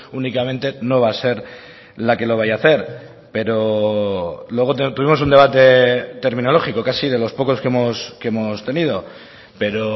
únicamente no va a ser la que lo vaya a hacer pero luego tuvimos un debate terminológico casi de los pocos que hemos tenido pero